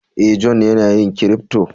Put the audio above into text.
Eh, John yana yin " crypto".